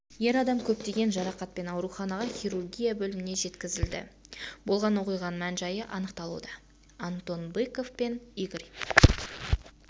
ер адам көптеген жарақатпен ауруханаға хирургия бөліміне жеткізілді болған оқиғаның мән-жайы анықталуда антон быков пен игорь